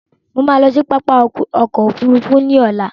Mo máa lọ sí pápá ọkọ òfúrúúfú ní ọ̀la